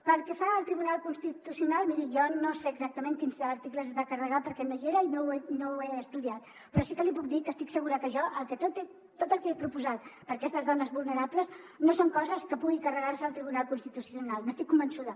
pel que fa al tribunal constitucional miri jo no sé exactament quins articles es va carregar perquè no hi era i no ho he estudiat però sí que li puc dir que estic segura que jo tot el que he proposat per a aquestes dones vulnerables no són coses que pugui carregar se el tribunal constitucional n’estic convençuda